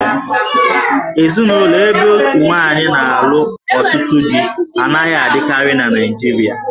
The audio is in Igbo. Ezinụlọ ebe otu nwaanyị na-alụ ọtụtụ dí anaghị adịkarị na Naịjirịa